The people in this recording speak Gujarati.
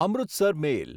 અમૃતસર મેલ